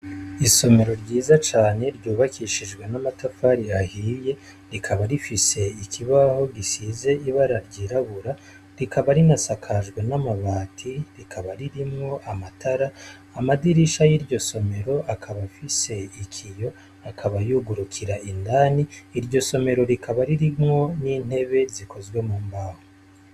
Isomero ryiza cane ryubakishijwe n'amatafari ahiye, rikaba rifise ikibaho gisize ibara ry'irabura, rikaba rinasakajwe n'amabati, rikaba ririmwo n'amatara, Amadirisha Yiryo somero akaba afise ikiyo akaba yugurukira indani, iryo somero rikaba irimwo n'intebe zikozwe mumbaho.